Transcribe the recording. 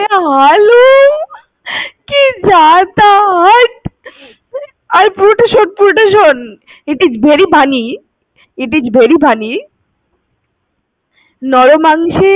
হালুম, কি যাতা, হাট, পুরোটা শোন~পুরোটা শোন, it is very funny it is very funny. নর মাংসের স্বাদ